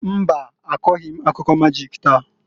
Mbaǃ Akọghị m akụkọ majịk taa.